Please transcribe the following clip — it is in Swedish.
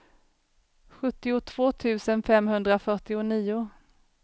sjuttiotvå tusen femhundrafyrtionio